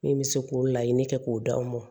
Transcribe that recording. Min bɛ se k'o laɲini kɛ k'o d'anw ma